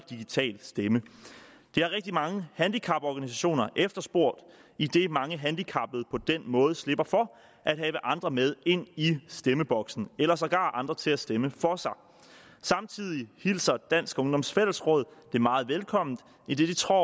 og digital stemme det har rigtig mange handicaporganisationer efterspurgt idet mange handicappede på den måde slipper for at have andre med ind i stemmeboksen eller sågar andre til at stemme for sig samtidig hilser dansk ungdoms fællesråd det meget velkomment idet de tror